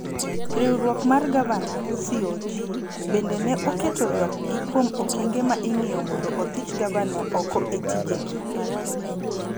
Riwruok mar Gavana (CoG) bende ne oketo ywakgi kuom okenge ma ing'iyo mondo othich gavana oko e tijegi,